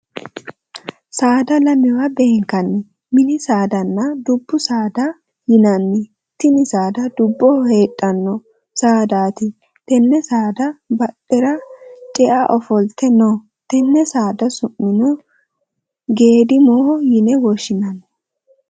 Saada lamewa benkanni minni saadanna dubu saada yinne tinni saada duboho deedhano saadaati tenne saadate badhera ce'a ofolte no. Tenne saada su'mino geedimoho yinne woshinnanni.